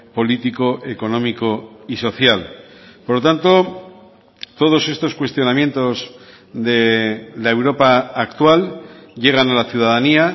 político económico y social por lo tanto todos estos cuestionamientos de la europa actual llegan a la ciudadanía